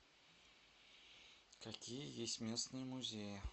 какие есть местные музеи